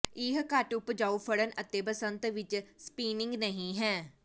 ਇਹ ਘੱਟ ਉਪਜਾਊ ਫੜਨ ਅਤੇ ਬਸੰਤ ਵਿਚ ਸਪਿਨਿੰਗ ਨਹੀ ਹੈ